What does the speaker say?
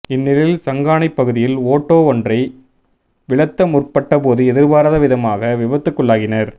இந் நிலையில் சங்கானைப் பகுதியில் ஓட்டோ ஒன்றை விலத்த முற்பட்ட போது எதிர்பாராத விதமாக விபத்துக்குள்ளாகினர்